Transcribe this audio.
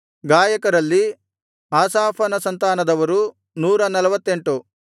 ಗಾಯಕರಲ್ಲಿ ಆಸಾಫನ ಸಂತಾನದರು 148